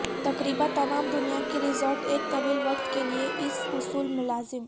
تقریبا تمام دنیا کی رزارٹ ایک طویل وقت کے لئے اس اصول ملازم